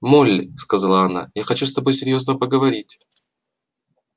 молли сказала она я хочу с тобой серьёзно поговорить